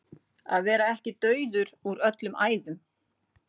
Að vera ekki dauður úr öllum æðum